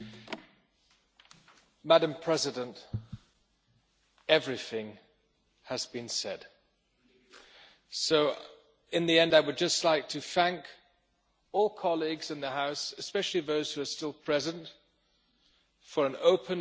Madam President, everything has been said, so, in the end, I would just like to thank all colleagues in the House, especially those who are still present, for an open and honest debate.